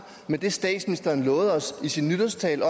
med det statsministeren lovede os i sin nytårstale